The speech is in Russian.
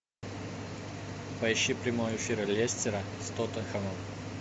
поищи прямой эфир лестера с тоттенхэмом